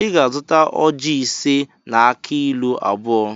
Ị ga-azụta ojị ise na akị ilu abụọ